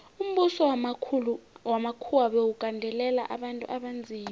umbuso wamakhuwa bewugandelela abantu abanzima